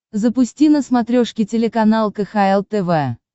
запусти на смотрешке телеканал кхл тв